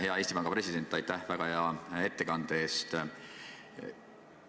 Hea Eesti Panga president, aitäh väga hea ettekande eest!